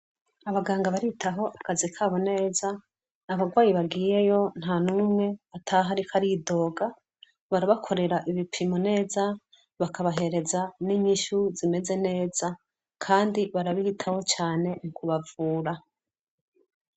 Abaganga baritaho akazi kabo neza abarwayi bagiyeyo nta n'umwe atahe, ariko aridoga barabakorera ibipimo neza bakabahereza n'inyishu zimeze neza, kandi barabiritaho cane ukubavura.